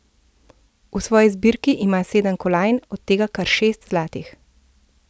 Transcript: V svoji zbirki ima sedem kolajn, od tega kar šest zlatih.